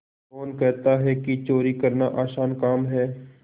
कौन कहता है कि चोरी करना आसान काम है